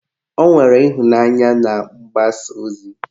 Ọ nwere ịhụnanya na mgbasa ozi